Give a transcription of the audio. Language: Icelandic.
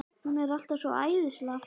Hún er alltaf svo æðislega fyndin.